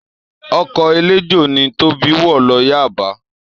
Ọkọ̀ eléjò ni Tóbi wọ̀ lọ Yaba